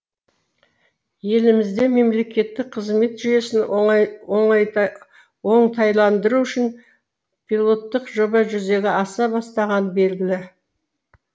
елімізде мемлекеттік қызмет жүйесін оңтайландыру үшін пилоттық жоба жүзеге аса бастағаны белгілі